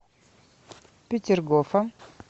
петергофа